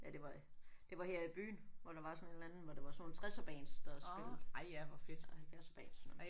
Ja det var det var her i byen hvor der var sådan en eller anden hvor det var sådan nogle tresserbands der spillede og halvfjerdserbands